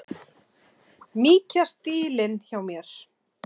Mýkja stílinn hjá mér.